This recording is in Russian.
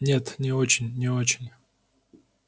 нет не очень не очень